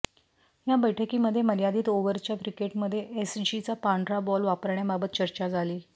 या बैठकीमध्ये मर्यादित ओव्हरच्या क्रिकेटमध्ये एसजीचा पांढरा बॉल वापरण्याबाबत चर्चा झाली